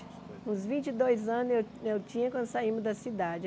Uns vinte e dois anos eu eu tinha quando saímos da cidade.